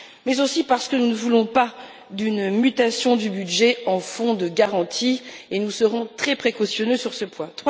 mais aussi parce que nous ne voulons pas d'une mutation du budget en fonds de garantie, et nous serons très précautionneux sur ce point.